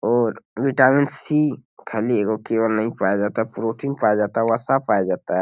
और vitamin C खाली एगो केवल नहीं पाया जाता है प्रोटीन पाया जाता है वसा पाया जाता है|